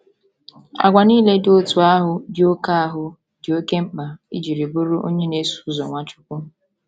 Àgwà nile dị otú ahụ dị oké ahụ dị oké mkpa iji bụrụ onye na - eso ụzọ Nwachukwu.